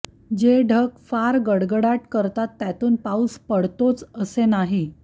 जे ढग फार गडगडाट करतात त्यातून पाऊस पडतोच असे नाही